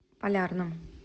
полярном